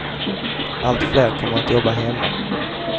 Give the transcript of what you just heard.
Allt fler kommer att jobba hemma.